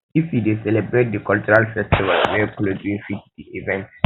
if you um dey celebrate di cultural festival wear um cloth wey fit um di event